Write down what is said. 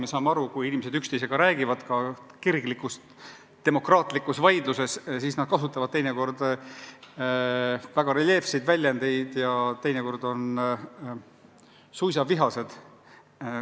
Me saame aru, et kui inimesed üksteisega räägivad, ka kirglikus demokraatlikus vaidluses, siis nad kasutavad teinekord väga reljeefseid väljendeid ja teinekord on suisa vihased.